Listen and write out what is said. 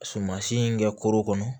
Sumasi in kɛ koro kɔnɔ